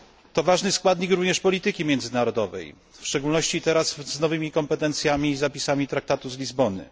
To ważny składnik również polityki międzynarodowej, w szczególności teraz z nowymi kompetencjami i zapisami traktatu z Lizbony.